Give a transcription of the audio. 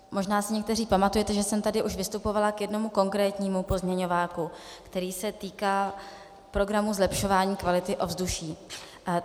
Možná si někteří pamatujete, že jsem tady už vystupovala k jednomu konkrétnímu pozměňováku, který se týkal programu zlepšování kvality ovzduší.